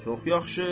Çox yaxşı.